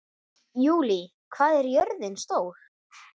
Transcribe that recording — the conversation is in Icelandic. Júlí, hvað er jörðin stór?